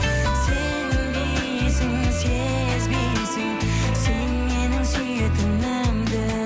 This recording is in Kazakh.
сенбейсің сезбейсің сен менің сүйетінімді